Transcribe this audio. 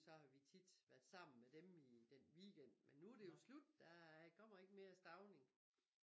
Så har vi tit været sammen med dem i den weekend men nu det jo slut der kommer ikke mere Stauning